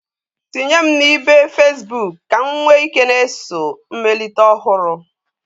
Tinye m na ibe Fesbuk ka m nwee ike na-eso mmelite ọhụrụ.